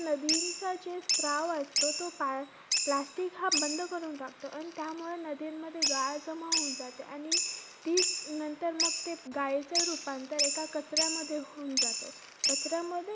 नदींचा जे स्त्राव असतो, तो pla~plastic हा बंद करून टाकतो. त्यामुळे नदींमध्ये गाळ जमा होऊन जाते. आणि तीच नंतर मग ते गाळेच रुपांतर एका कचऱ्यामध्ये होऊन जातो. कचऱ्यामध्ये